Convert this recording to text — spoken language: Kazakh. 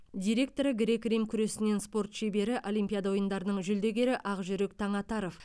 директоры грек рим күресінен спорт шебері олимпиада ойындарының жүлдегері ақжүрек таңатаров